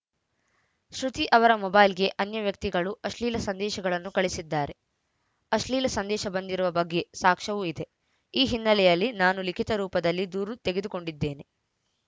ಶ್ರುತಿ ಅವರ ಮೊಬೈಲ್‌ಗೆ ಅನ್ಯ ವ್ಯಕ್ತಿಗಳು ಅಶ್ಲೀಲ ಸಂದೇಶಗಳನ್ನು ಕಳಿಸಿದ್ದಾರೆ ಅಶ್ಲೀಲ ಸಂದೇಶ ಬಂದಿರುವ ಬಗ್ಗೆ ಸಾಕ್ಷವೂ ಇದೆ ಈ ಹಿನ್ನೆಲೆಯಲ್ಲಿ ನಾನು ಲಿಖಿತ ರೂಪದಲ್ಲಿ ದೂರು ತೆಗೆದುಕೊಂಡಿದ್ದೇನೆ